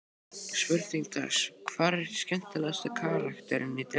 Spurning dagsins: Hver er skemmtilegasti karakterinn í deildinni?